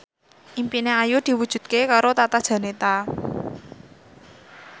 impine Ayu diwujudke karo Tata Janeta